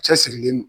Cɛsirilen don